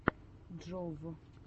джов